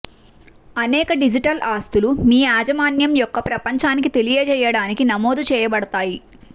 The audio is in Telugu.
అనేక డిజిటల్ ఆస్తులు మీ యాజమాన్యం యొక్క ప్రపంచానికి తెలియజేయడానికి నమోదు చేయబడతాయి